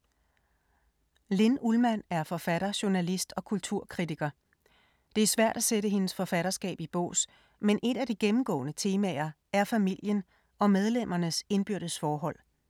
Linn Ullmann er forfatter, journalist og kulturkritiker. Det er svært at sætte hendes forfatterskab i bås, men et af de gennemgående temaer er familien og medlemmernes indbyrdes forhold.